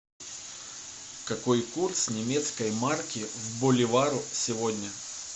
какой курс немецкой марки к боливару сегодня